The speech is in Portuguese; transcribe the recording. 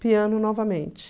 Piano novamente.